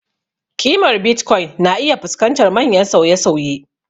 Ƙimar Bitcoin na iya fuskantar manyan sauye-sauye.